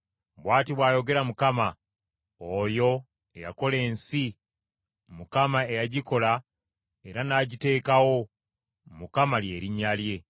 “Bw’ati bw’ayogera Mukama , oyo eyakola ensi, Mukama eyagikola era n’agiteekawo, Mukama lye linnya lye: